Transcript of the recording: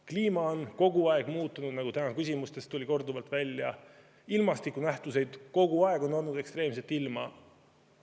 Kliima on kogu aeg muutunud, nagu täna küsimustest korduvalt välja tuli, kogu aeg on olnud ekstreemset ilma.